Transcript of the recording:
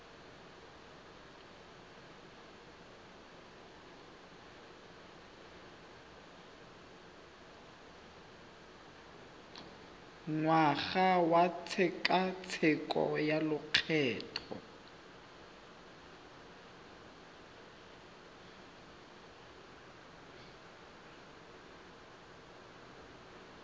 ngwaga wa tshekatsheko ya lokgetho